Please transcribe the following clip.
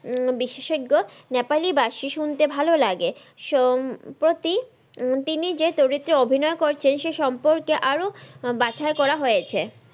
উম বিশেষজ্ঞ নেপালিবাসি শুনতে ভালোলাগে সম্প্রতি তিনি যে চরিত্রে অভিনয় করছেন সেই সম্পর্কে আরও বাছাই করা হয়েছে।